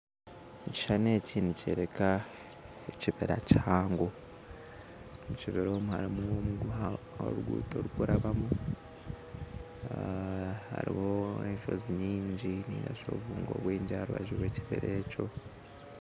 Ekishushani eki nikyoreka ekibira kihango omu kibira omwo harimu omuguha oruguto rurikurabamu hariho enshozi nyingi nainga shi obubungo bwingi aha rubaju rw'ekibira ekyo